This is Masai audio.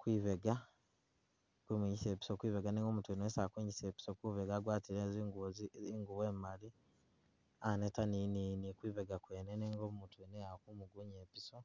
kwibega ali kumwingisa ipiso kwibega nenga umutu wene wesi ali kwingisa ipiso kwibega agwatile zingubo ingubo imali aneta ni kwibega kwene nenga umutu wene ye ali kumugunya ipiso.